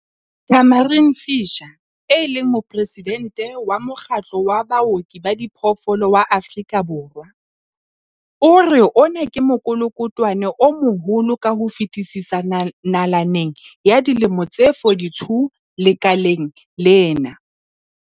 Tamarin Fisher, e leng Moporesidente wa Mokgatlo wa Baoki ba Diphoofolo wa Afrika Borwa, o re ona ke mokolokotwane o moholo ka ho fetisisa nalaneng ya dilemo tse 42 lekaleng lena.